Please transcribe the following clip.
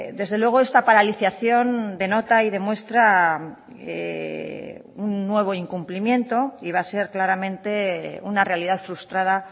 desde luego esta paralización denota y demuestra un nuevo incumplimiento y va a ser claramente una realidad frustrada